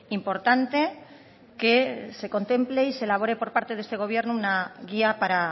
importante que se contemple y se elabore por parte de este gobierno una guía para